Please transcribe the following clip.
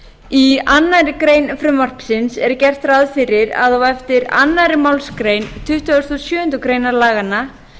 sveitarfélag í annarri grein frumvarpsins er gert ráð fyrir að á eftir annarri málsgrein tuttugustu og sjöundu grein laganna